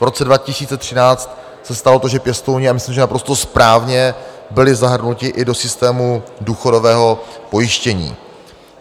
V roce 2013 se stalo to, že pěstouni, a myslím, že naprosto správně, byli zahrnuti i do systému důchodového pojištění.